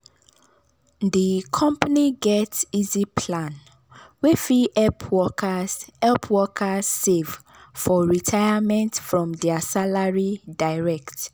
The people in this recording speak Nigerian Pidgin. di company get easy plan wey fit help workers help workers save for retirement from their salary direct.